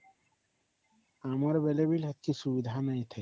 ଆମର ବେଳେ ବି ସେତିକି ସୁବିଧା ନାହିଁ ଥାଇ